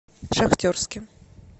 шахтерске